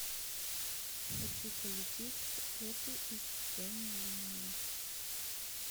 хочу полететь в оту из вэньлина